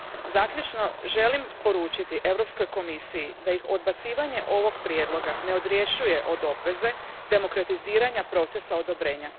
Zaključno, želim poručiti Europskoj komisiji da ih odbacivanje ovog prijedloga ne odrješuje od obveze demokratiziranja procesa odobrenja.